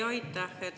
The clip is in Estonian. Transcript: Jaa, aitäh!